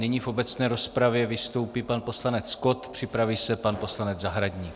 Nyní v obecné rozpravě vystoupí pan poslanec Kott, připraví se pan poslanec Zahradník.